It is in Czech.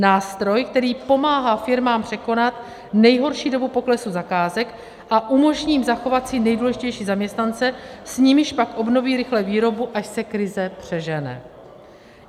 Nástroj, který pomáhá firmám překonat nejhorší dobu poklesu zakázek a umožní jim zachovat si nejdůležitější zaměstnance, s nimiž pak obnoví rychle výrobu, až se krize přežene.